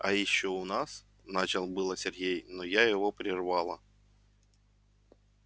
а ещё у нас начал было сергей но я его прервала